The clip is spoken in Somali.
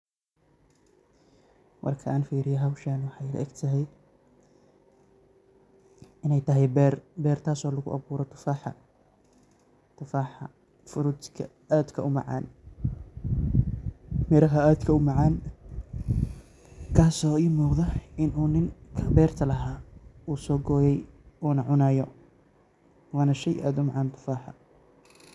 Marka aan fiiriyo howshan waxay ila egtahay inay tahay beer. Beer taas oo lugu abuuray tufaaxa. Tufaaxa, frutka aadka u macaan. Miraha aadka u macaan kaas oo ii muuqda in uu ninka beerta lahaa uu soo gooyay uuna cunaayo. Waana shay aad u macaan tufaaxa.